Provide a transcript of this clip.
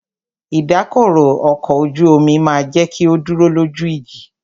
Ìdákọrò ọkọ̀ ojú omi máà jẹ́ kí o dúró lójú ìjì.